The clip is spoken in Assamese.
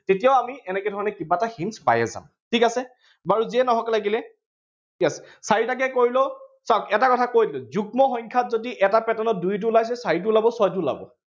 তেতিয়াও আমি এনেকে ধৰণৰ কিবা এটা hints পায়েই যাম, ঠিক আছে? বাৰু যিয়েই নহওঁক লাগিলে। ইয়াত চাৰিটাকে কৰিলেও, চাওক এটা কৈ দিও, যুগ্ম সংখ্য়াত যদি এটা pattern ত দুইটো ওলাইছে, চাৰিটো ওলাব, ছয়টো ওলাব।